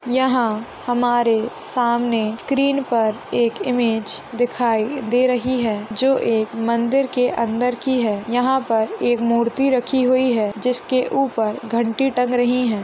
यहा हमारे सामने स्क्रीन पर एक इमेज दिखाई दे रही है। जो एक मंदिर के अंदर की है। यहा पर एक मूर्ति रखी हुई है। जिसके ऊपर घंटी टंग रही है।